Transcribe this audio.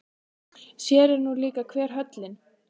Sér er nú líka hver höllin.